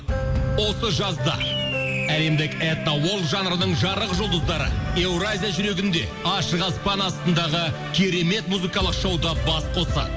осы жазда әлемдік этно жанрының жарық жұлдыздары еуразия жүрегінде ашық аспан астындағы керемет музыкалық шоуда бас қосады